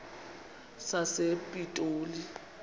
sasepitoli